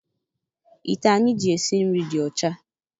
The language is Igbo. Ite anyị ji esi nri dị ọcha.